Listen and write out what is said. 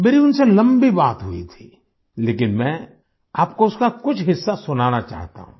मेरी उनसे लंबी बात हुई थी लेकिन मैं आपको उसका कुछ हिस्सा सुनाना चाहता हूँ